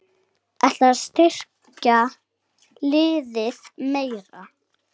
Ætlarðu að styrkja liðið meira?